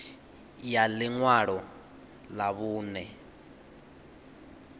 ya ḽi ṅwalo ḽa vhuṋe